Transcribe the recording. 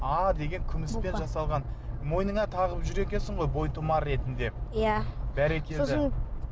а деген күміспен жасалған мойныңа тағып жүр екенсің ғой бойтұмар ретінде иә бәрекелді